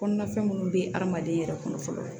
Kɔnɔna fɛn minnu bɛ hadamaden yɛrɛ kɔnɔ fɔlɔ